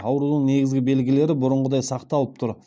аурудың негізгі белгілері бұрынғыдай сақталып тұр